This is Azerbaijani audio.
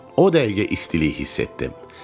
O dəqiqə istilik hiss etdim.